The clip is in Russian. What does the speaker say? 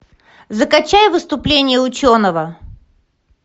закачай выступление ученого